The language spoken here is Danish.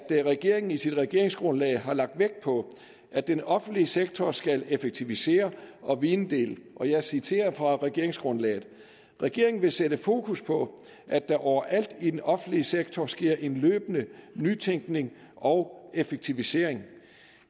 regeringen i sit regeringsgrundlag har lagt vægt på at den offentlige sektor skal effektivisere og videndele jeg citerer fra regeringsgrundlaget regeringen vil sætte fokus på at der over alt i den offentlige sektor sker en løbende nytænkning og effektivisering